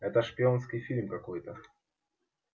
это шпионский фильм какой-то